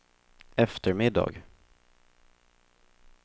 eftermiddag